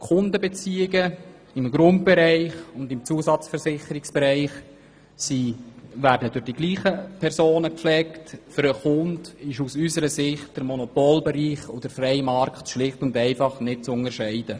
Die Kundenbeziehungen im Grund- und im Zusatzversicherungsbereich werden durch dieselben Personen gepflegt, und aus unserer Sicht ist der Monopolbereich und der freie Markt für den Kunden nicht zu unterscheiden.